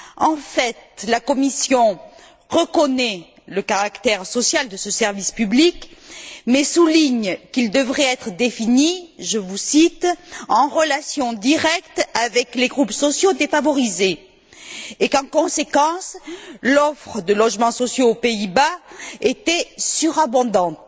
En fait, la Commission reconnaît le caractère social de ce service public, mais souligne qu'il devrait être défini je vous cite en relation directe avec les groupes sociaux défavorisés et qu'en conséquence, l'offre de logements sociaux aux Pays Bas est surabondante